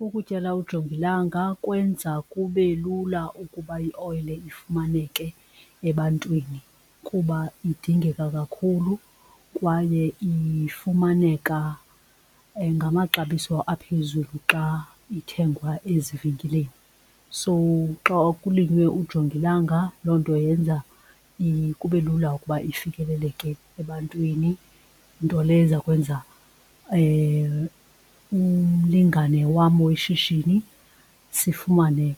Ukutyala ujongilanga kwenza kube lula ukuba ioyile ifumaneke ebantwini kuba idingeka kakhulu kwaye ifumaneka ngamaxabiso aphezulu xa ithengwa ezivenkileni. So xa kulinywe ujongilanga loo nto yenza kube lula ukuba ifikeleleke ebantwini, nto leyo eza kwenza umlingane wam weshishini sifumane